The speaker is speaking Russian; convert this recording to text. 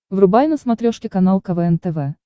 врубай на смотрешке канал квн тв